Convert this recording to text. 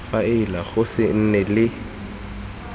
faele go se nne le